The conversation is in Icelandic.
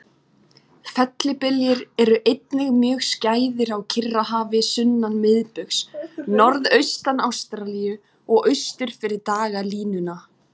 Fellibyljir eru einnig mjög skæðir á Kyrrahafi sunnan miðbaugs, norðaustan Ástralíu og austur fyrir dagalínuna.